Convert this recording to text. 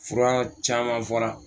Fura caman fɔra